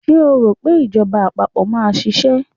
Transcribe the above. Ṣé o rò pé ìjọba àpapọ̀ máa ṣiṣẹ́?